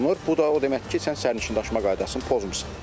Bu da o deməkdir ki, sən sərnişin daşıma qaydasını pozmusan.